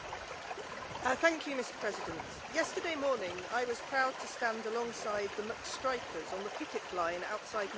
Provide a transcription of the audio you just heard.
Mr President, yesterday morning I was proud to stand alongside the McStrikers on the picket line outside McDonalds in Cambridge.